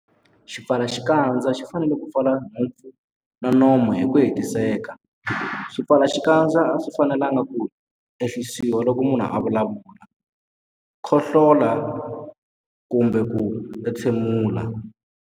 Xipfalaxikandza xi fanele ku pfala nhompfu na nomo hi ku hetiseka. Swipfalaxikandza a swi fanelanga ku ehlisiwa loko munhu a vulavula, khohlola kumbe ku entshemula.